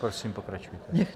Prosím, pokračujte.